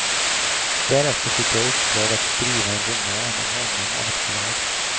Därefter fick jag i uppdrag att skriva en roman om honom av ett förlag.